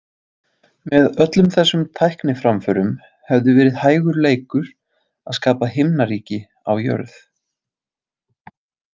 Með öllum þessum tækniframförum hefði verið hægur leikur að skapa himnaríki á jörð.